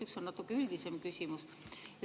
Üks on natuke üldisem.